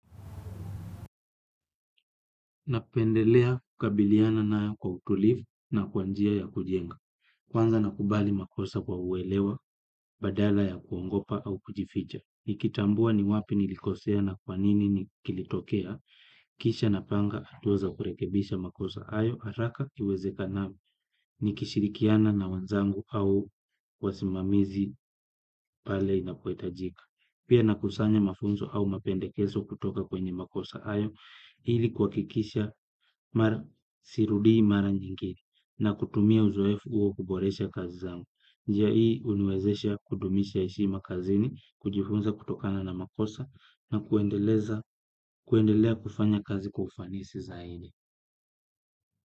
Napendelea kukabiliana nayo kwa utulivu na kwa njia ya kujenga. Kwanza nakubali makosa kwa uelewa, badala ya kuogopa au kujificha. Nikitambua ni wapi nilikosea na kwa nini ni kilitokea. Kisha napanga hatua za kurekebisha makosa hayo, haraka iwezekanavyo. Nikishirikiana na wenzangu au wasimamizi pale inapohitajika. Pia nakusanya mafunzo au mapendekezo kutoka kwenye makosa hayo. Ili kuhakikisha mara sirudii mara nyingine na kutumia uzoefu huo kuboresha kazi zangu. Njia hii huniwezesha kudumisha heshima kazini, kujifunza kutokana na makosa na kuendelea kufanya kazi kwa ufanisi zaidi.